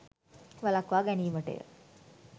වළක්වා ගැනීමටය.